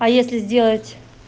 а если сделать